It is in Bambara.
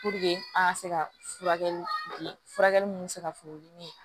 an ka se ka furakɛli ninnu bɛ se ka funu